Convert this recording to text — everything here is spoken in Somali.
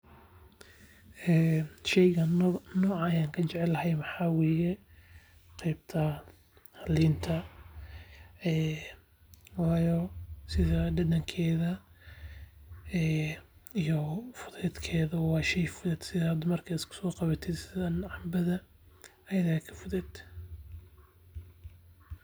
Sheygani nooca aan kujeclahay waxaa waye qeebta liinta waayo dadankeeda iyo fudeedkeeda sida canbada.